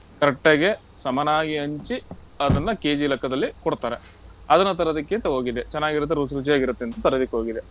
Correct ಆಗಿ, ಸಮನಾಗಿ ಹಂಚಿ, ಅದನ್ನ KG ಲೆಕ್ಕದಲ್ಲಿ ಕೊಡ್ತಾರೆ. ಅದನ್ನ ತರದಿಕ್ಕೆಂತಾ ಹೋಗಿದ್ದೆ. ಚೆನಾಗಿರತ್ತೆ, ರುಚಿ ರುಚಿಯಾಗಿರತ್ತೆಂತ ತರದಿಕ್ ಹೋಗಿದ್ದೆ.